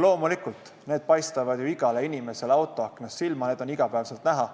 Loomulikult, need paistavad igale inimesele ju autoaknast silma, need on iga päev näha,